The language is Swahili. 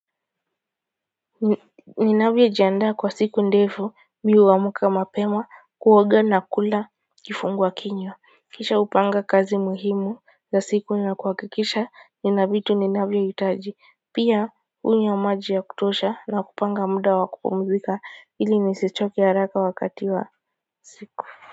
Ninavyojianda kwa siku ndefu mi huamka mapema kuoga na kula kifungua kinywa kisha hupanga kazi muhimu za siku na kuhakikisha nina vitu ninavyohitaji pia hunywa maji ya kutosha na kupanga muda wa kupumzika ili nisichoke haraka wakati wa siku.